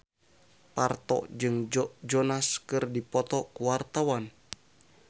Parto jeung Joe Jonas keur dipoto ku wartawan